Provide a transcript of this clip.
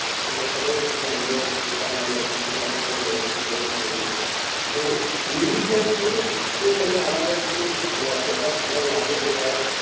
আমরা সবাই ছিলাম যে যেটা মানে আপনারাই ব্যাবস্থা করেছিলেন যেটা তো ওইটা কিন্তু একটু মানে আমার একটু মানে অতটা ভালো লাগেনি কারণ